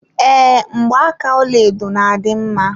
Ee, Mgbaaka ọlaedo na adị mma